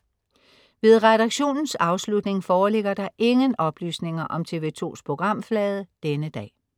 Ved redaktionens afslutning foreligger der ingen oplysninger om TV2s programflade denne dag